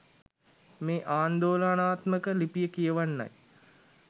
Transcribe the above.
මේ ආන්දෝලනාත්මක ලිපිය කියවන්නයි